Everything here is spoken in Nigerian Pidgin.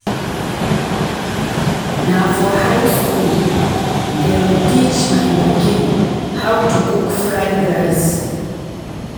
Na for high skool dem teach my pikin how to cook fried rice.